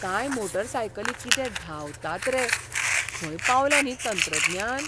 कांय मोटारसायकली कितें धांवतात रे, खंय पावलां न्ही तंत्रज्ञान!